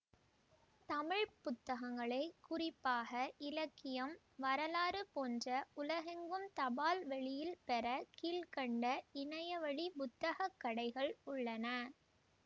தமிழ் புத்தங்களை குறிப்பாக இலக்கியம் வரலாறு போன்ற உலகெங்கும் தபால்வழியில் பெற கீழ்கண்ட இணையவழி புத்தகக்கடைகள் உள்ளன